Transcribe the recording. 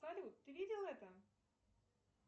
салют ты видел это